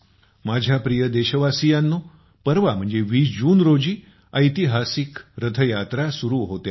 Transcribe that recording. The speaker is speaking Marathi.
माझ्या प्रिय देशवासियांनो परवा म्हणजे 20 जून रोजी ऐतिहासिक रथयात्रा सुरु होते आहे